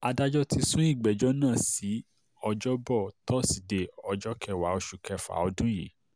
adájọ́ ti sún ìgbẹ́jọ́ náà sí ọjọ́bọ̀ tọ́sídẹ̀ẹ́ ọjọ́ kẹwàá oṣù kẹfà ọdún yìí